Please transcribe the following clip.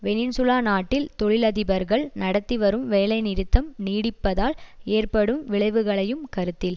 வெனின்சூலா நாட்டில் தொழிலதிபர்கள் நடத்தி வரும் வேலை நிறுத்தம் நீடிப்பதால் ஏற்படும் விளைவுகளையும் கருத்தில்